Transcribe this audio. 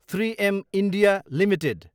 three M India Ltd